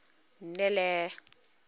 nelly